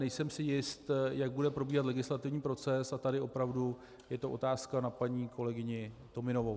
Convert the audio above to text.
Nejsem si jist, jak bude probíhat legislativní proces, a tady opravdu je to otázka na paní kolegyni Tominovou.